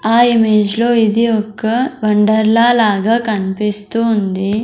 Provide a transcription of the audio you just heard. ఆ ఇమేజ్ లో ఇది ఒక్క వండర్లా లాగా కన్పిస్తూ ఉంది.